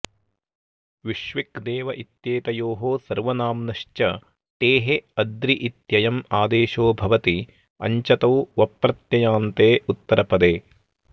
विष्वक् देव इत्येतयोः सर्वनाम्नश्च टेः अद्रि इत्ययम् आदेशो भवति अञ्चतौ वप्रत्ययान्ते उत्तरपदे